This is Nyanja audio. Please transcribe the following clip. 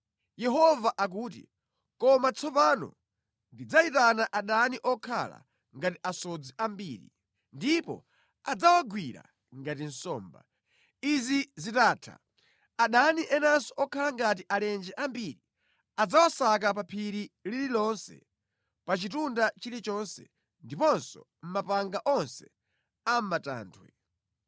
Yehova akuti, “Koma tsopano ndidzayitana adani okhala ngati asodzi ambiri, ndipo adzawagwira ngati nsomba. Izi zitatha adani enanso okhala ngati alenje ambiri, adzawasaka pa phiri lililonse, pa chitunda chilichonse ndiponso mʼmapanga onse a mʼmatanthwe.